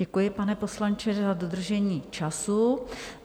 Děkuji, pane poslanče, za dodržení času.